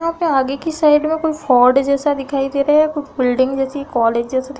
यहाँ पर आगे की साइड में कोई फोर्ड जैसा दिखाई दे रहा है या कोई बिल्डिंग जैसी कोई कॉलेज जैसी --